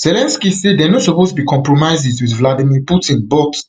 zelensky say dey no suppose be compromises with vladimir putin but